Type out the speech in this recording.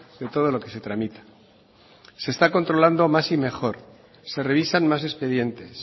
de todo lo que se tramita se está controlando más y mejor se revisan más expedientes